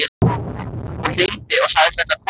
Hún hringdi og sagðist ætla að koma.